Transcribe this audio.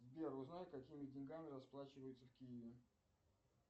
сбер узнай какими деньгами расплачиваются в киеве